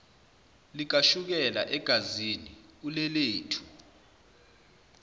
likashukela egazini ulelethu